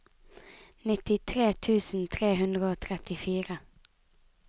nittitre tusen tre hundre og trettifire